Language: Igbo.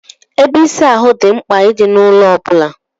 Ebe ịsa ahụ dị mkpa I di na ụlọ obula.